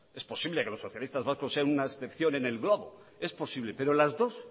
es posible que los socialistas vascos sean una excepción en el globo es posible pero las dos